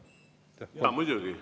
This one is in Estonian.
Jaa, muidugi.